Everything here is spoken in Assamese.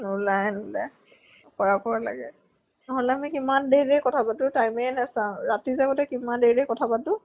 নোলায়ে নোলাই লাগে । নহʼলে আমি কিমান দেৰি দেৰি কথা পাতো time এ নাচাও । ৰাতি যে আগতে কিমান দেৰি দেৰি কথা পাতো ।